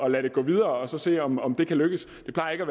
at lade det gå videre og se om om det kan lykkedes det plejer ikke